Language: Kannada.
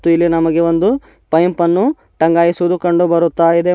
ಇಲ್ಲಿ ನಮಗೆ ಒಂದು ಪೈಪ್ ಅನ್ನು ಟಂಗಾಯಿಸುವುದು ಕಂಡು ಬರ್ತಾ ಇದೆ.